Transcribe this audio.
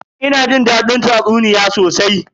Ina jin dadin tatsuniya sosai.